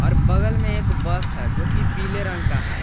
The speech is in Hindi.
और बगल में एक बस है जो कि पीले रंग का है।